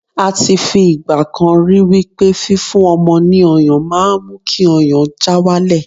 a ti fi igbakan ri wipe fi fún ọmọ ni ọyàn ma n mu ki ọyàn já walẹ